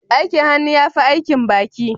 Aikin hannu ya fi aikin baki